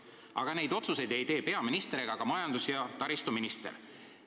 Aga neid otsuseid ei tee peaminister ega ka majandus- ja taristuminister".